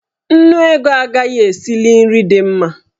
Nnu ego agaghị esili nri dị mma.